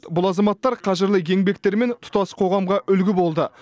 бұл азаматтар қажырлы еңбектерімен тұтас қоғамға үлгі болды